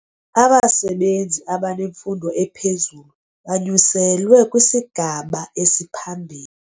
Abasebenzi abanemfundo ephezulu banyuselwe kwisigaba esiphambili.